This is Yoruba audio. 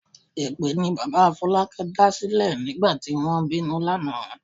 Èpè ni bàbá Fọlákẹ́ dàsílẹ̀ nígbà tí wọ́n ń bínú lánàá.